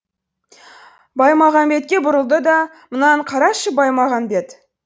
баймағамбетке бұрылды да мынаны қарашы баймағамбет